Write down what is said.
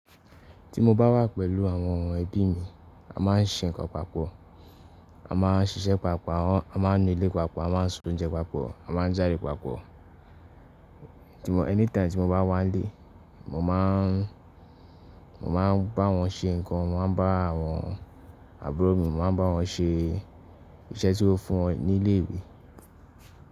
Ti mo bá wà pẹ̀lú àwọn ẹbí mi, a máa ń ṣe nǹkan papọ̀, a máa ń ṣiṣẹ́ papọ̀, a máa ń nu ilé papọ̀, a máa ń sun oúnjẹ papọ̀, a máa ń jáde papọ̀. Ti mo anytime ti mo bá wà ílé, mo máa ń, mo máa ń bá wọn ṣe nǹkan, mo máa ń bá àwọn àbúrò mi, mo máa ń bá wọn ṣe iṣẹ́ tí ó fún wọn nílé ìwé.